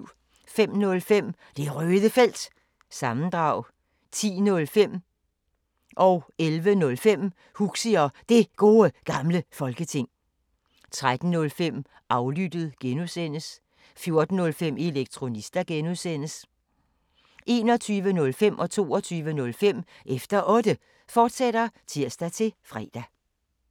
05:05: Det Røde Felt – sammendrag 10:05: Huxi og Det Gode Gamle Folketing 11:05: Huxi og Det Gode Gamle Folketing, fortsat 13:05: Aflyttet (G) 14:05: Elektronista (G) 21:05: Efter Otte, fortsat (tir-fre) 22:05: Efter Otte, fortsat (tir-fre)